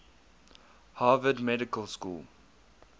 harvard medical school